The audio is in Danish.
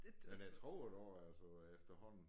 Men jeg tror det også altså efterhånden